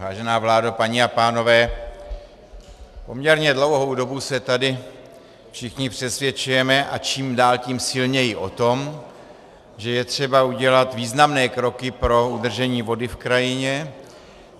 Vážená vládo, paní a pánové, poměrně dlouhou dobu se tady všichni přesvědčujeme, a čím dál tím silněji, o tom, že je třeba udělat významné kroky pro udržení vody v krajině.